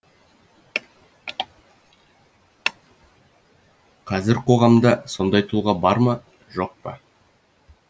қазір қоғамда сондай тұлға бар ма жоқ па